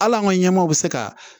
Hal'an ka ɲɛmɔgɔ be se ka